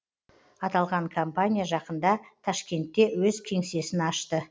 аталған компания жақында ташкентте өз кеңсесін ашты